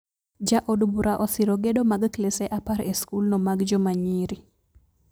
Ja od bura osiro gedo mag klese apar e skul no mag joma nyiri